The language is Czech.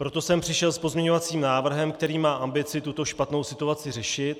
Proto jsem přišel s pozměňovacím návrhem, který má ambici tuto špatnou situaci řešit.